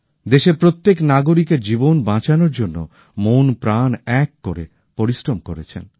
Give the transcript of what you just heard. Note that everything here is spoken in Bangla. দেশের প্রত্যেক নাগরিকের জীবন বাঁচানোর জন্য মন প্রাণ এক করে পরিশ্রম করেছেন